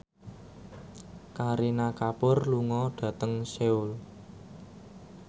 Kareena Kapoor lunga dhateng Seoul